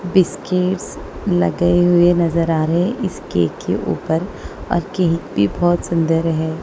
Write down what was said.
Biscuits लगे हुए नजर आ रहे हैं इस केक के ऊपर और केक भी बहुत सुंदर है।